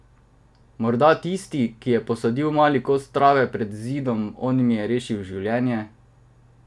Morda tisti, ki je posadil mali kos trave pred zidom, on mi je rešil življenje.